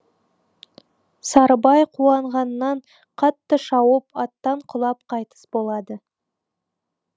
сарыбай қуанғаннан қатты шауып аттан құлап қайтыс болады